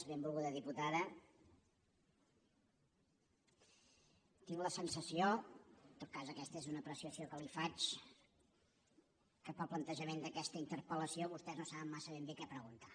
benvolguda diputada tinc la sensació en tot cas aquesta és una apreciació que li faig que pel plantejament d’aquesta interpel·lació vostès no saben massa ben bé què preguntar